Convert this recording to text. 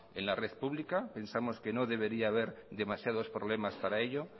en la red pública pensamos que no debería ver demasiados problemas para ello